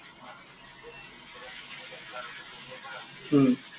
হম